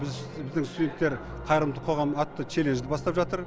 біз біздің студенттер қайырымды қоғам атты челленджді бастап жатыр